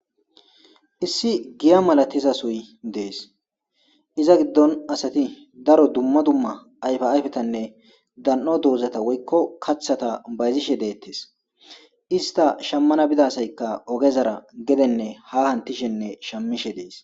issi giya malatiza suy dees iza giddon asati daro dumma dumma ayfa Ayfetanne dan'o doozata woykko kaththata bayzishe deettes ista shammana bidasaykka ogezara gedenne ha hantishenne shamishe dees.